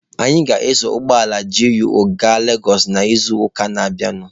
Anyị ga-eso ụgbọala GUO gaa Legosụ n'izuụka na-abịanụ.